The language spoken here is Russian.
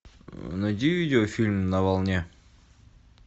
найди видеофильм на волне